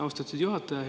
Austatud juhataja!